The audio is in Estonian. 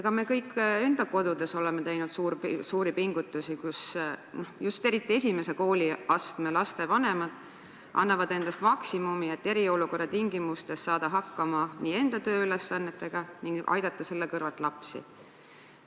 Ka meie kõik oleme oma kodus teinud suuri pingutusi, eriti annavad esimese kooliastme laste vanemad endast maksimumi, et eriolukorra tingimustes saada hakkama enda tööülesannetega ning aidata selle kõrvalt ka lapsi.